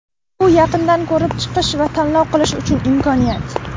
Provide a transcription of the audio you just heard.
Bu yaqindan ko‘rib chiqish va tanlov qilish uchun imkoniyat.